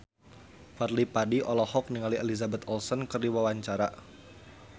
Fadly Padi olohok ningali Elizabeth Olsen keur diwawancara